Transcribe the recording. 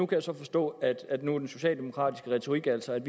kan så forstå at at den socialdemokratiske retorik nu altså er